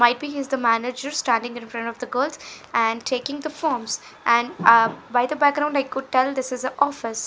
viping is the managers standing in front of the girls and taking the forms and ahh by the background I could tell this is a office.